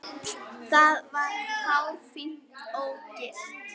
Það var hárfínt ógilt.